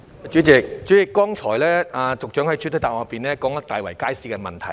主席，局長剛才在主體答覆中提到大圍街市的問題。